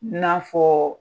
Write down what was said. N'a fɔ